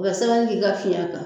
U ka sɛbɛnnii k'i ka fiɲɛ kan.